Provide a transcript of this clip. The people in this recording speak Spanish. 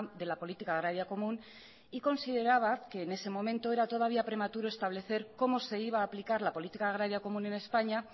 de la política agraria común y consideraba que en ese momento era todavía prematuro establecer cómo se iba a aplicar la política agraria común en españa